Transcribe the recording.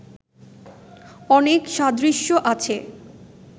অনেক সাদৃশ্য আছে